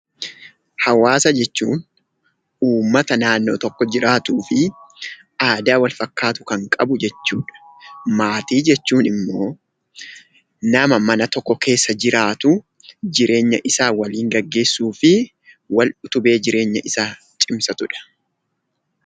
Hawaasa jechuun uummata naannoo tokko jiraatuu fi aadaa walfakkaatu kan qabu jechuudha. Maatii jechuun immoo nama mana tokko keessa jiraatuu, jireenya isaa waliin geggeessuu fi wal utubee jireenya isaa cimsatudha.